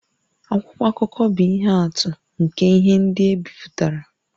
Akwụkwọ akụkọ bụ ihe atụ nke ihe ndị e bipụtara